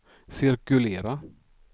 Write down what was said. cirkulera